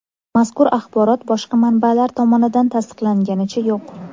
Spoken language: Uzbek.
Mazkur axborot boshqa manbalar tomonidan tasdiqlanganicha yo‘q.